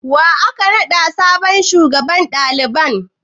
Wa aka naɗa sabon shugaban daliban?